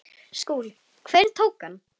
SKÚLI: Hverjir tóku hann?